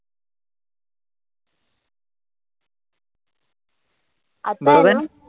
आता ए ना,